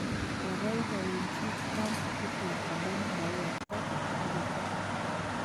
Kobaibachi Trump Putin amu maiyokto mugetut